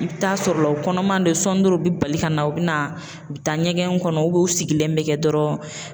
I bɛ taa sɔrɔ la u kɔnɔman bɛ sɔɔni dɔrɔn u bɛ bali ka na u bɛ na u bɛ taa ɲɛgɛn kɔnɔ u sigilen bɛ kɛ dɔrɔn